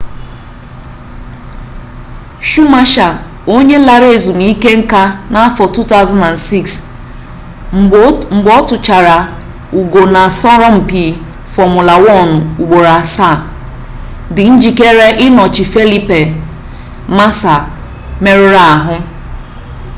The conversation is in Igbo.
schumacher onye lara ezmuike-nka na afo 2006 mgbe otuchaara ugo na asoroma-mpi fomula 1 ugboro asaa di njikere inochi felipe massa meruru-ahu